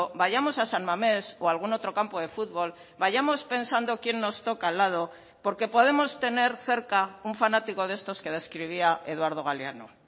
vayamos a san mamés o a algún otro campo de futbol vayamos pensando quién nos toca al lado porque podemos tener cerca un fanático de estos que describía eduardo galeano